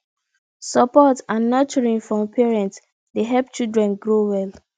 support and nurturing from parents dey help children grow well